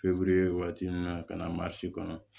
Feburuye waati min na ka na maa si kɔnɔ